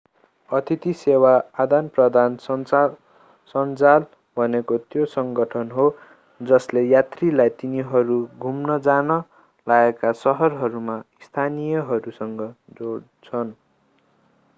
अतिथि सेवा आदानप्रदान सञ्जाल भनेको त्यो सङ्गठन हो जसले यात्रीलाई तिनीहरू घुम्न जान लागेका सहरहरूमा स्थानीयहरूसँग जोड्छन्